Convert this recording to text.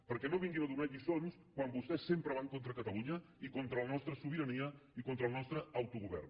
perquè no vinguin a donar lliçons quan vostès sempre van contra catalunya i con·tra la nostra sobirania i contra el nostre autogovern